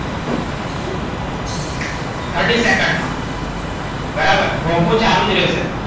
thirty second માં. બરાબર, ભોપું ચાલુ જ રહેશે.